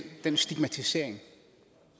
den stigmatisering